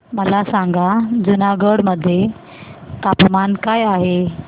मला सांगा जुनागढ मध्ये तापमान काय आहे